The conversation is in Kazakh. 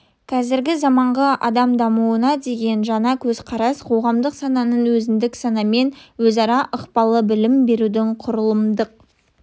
қазіргі заманғы адам дамуына деген жаңа көзқарас қоғамдық сананың өзіндік санамен өзара ықпалы білім берудің құрылымдық